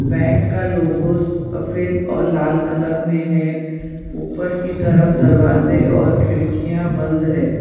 Bank का logos सफेद और लाल कलर में है ऊपर की तरफ दरवाजे और खिड़कियां बंद है।